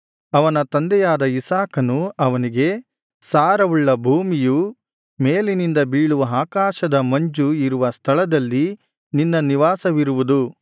ಅವನ ತಂದೆಯಾದ ಇಸಾಕನು ಅವನಿಗೆ ಸಾರವುಳ್ಳ ಭೂಮಿಯೂ ಮೇಲಿನಿಂದ ಬೀಳುವ ಆಕಾಶದ ಮಂಜು ಇರುವ ಸ್ಥಳದಲ್ಲಿ ನಿನ್ನ ನಿವಾಸವಿರುವುದು